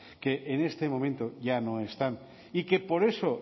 que en este momento ya no están y que por eso